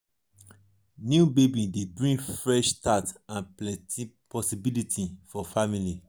new baby dey bring fresh start and plenty possibilities for family.